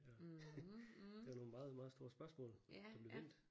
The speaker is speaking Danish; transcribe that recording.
Og det var nogle meget meget store spørgsmål der blev vendt